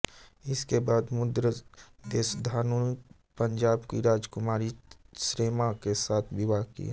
इसके बाद मुद्र देशआधुनिक पंजाब की राजकुमारी क्षेमा के साथ विवाह किया